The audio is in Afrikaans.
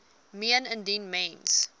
meen indien mens